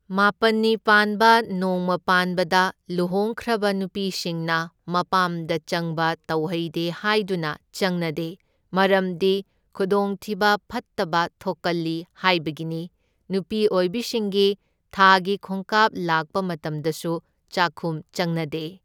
ꯃꯥꯄꯟꯅꯤ ꯄꯥꯟꯕ ꯅꯣꯡꯃ ꯄꯥꯟꯄꯗ ꯂꯨꯍꯣꯡꯈ꯭ꯔꯕ ꯅꯨꯄꯤꯁꯤꯡꯅ ꯃꯄꯥꯝꯗ ꯆꯪꯕ ꯇꯧꯍꯩꯗꯦ ꯍꯥꯢꯗꯨꯅ ꯆꯪꯅꯗꯦ, ꯃꯔꯝꯗꯤ ꯈꯨꯗꯣꯡꯊꯤꯕ ꯐꯠꯇꯕ ꯊꯣꯛꯀꯜꯂꯤ ꯍꯥꯏꯕꯒꯤꯅꯤ꯫ ꯅꯨꯄꯤ ꯑꯣꯏꯕꯤꯁꯤꯡꯒꯤ ꯊꯥꯒꯤ ꯈꯣꯡꯀꯥꯞ ꯂꯥꯛꯄ ꯃꯇꯝꯗꯁꯨ ꯆꯥꯈꯨꯝ ꯆꯪꯅꯗꯦ꯫